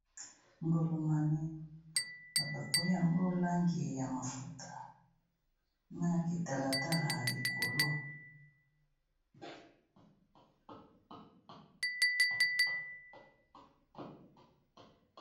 Ngolomane ba bakoli yango langi ya mafuta na kitalatala ya likolo.